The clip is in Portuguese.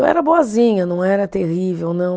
Eu era boazinha, não era terrível, não.